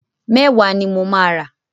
Mẹ́wàá ni mo máa rà.